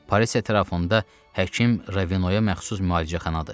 Paris ətrafında həkim Ravenoya məxsus müalicəxanadadır.